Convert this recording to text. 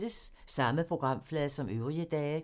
Samme programflade som øvrige dage